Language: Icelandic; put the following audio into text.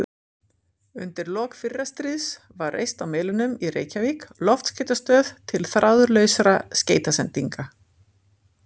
Undir lok fyrra stríðs var reist á Melunum í Reykjavík loftskeytastöð til þráðlausra skeytasendinga.